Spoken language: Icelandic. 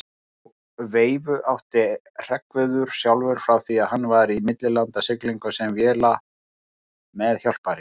Þá veifu átti Hreggviður sjálfur frá því hann var í millilandasiglingum sem vélameðhjálpari.